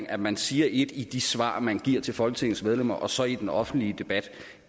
at man siger ét i de svar man giver til folketingets medlemmer og så i den offentlige debat